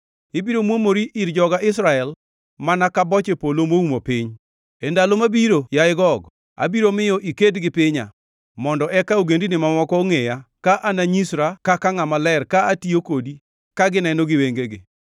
Ibiro muomori ir joga Israel mana ka boche polo moumo piny. E ndalo mabiro, yaye Gog, abiro miyo iked gi pinya, mondo eka ogendini mamoko ongʼeya ka ananyisra kaka ngʼama ler ka atiyo kodi ka gineno gi wengegi.